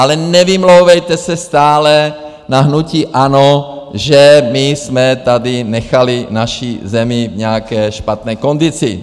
Ale nevymlouvejte se stále na hnutí ANO, že my jsme tady nechali naši zemi v nějaké špatné kondici.